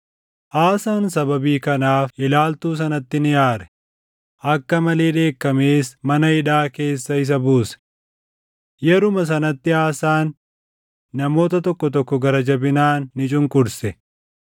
Aasaan sababii kanaaf ilaaltuu sanatti ni aare; akka malee dheekkamees mana hidhaa keessa isa buuse. Yeruma sanatti Aasaan namoota tokko tokko gara jabinaan ni cunqurse.